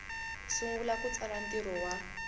sungula ku tsala ntirho wa